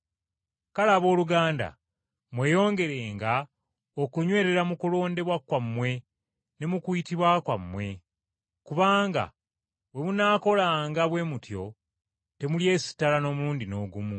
Kale, abooluganda mweyongerenga okunywerera mu kulondebwa kwammwe ne mu kuyitibwa kwammwe. Kubanga bwe munaakolanga bwe mutyo temulyesittala n’omulundi n’ogumu.